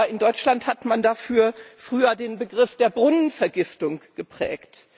In Deutschland hat man dafür früher den Begriff der Brunnenvergiftung geprägt.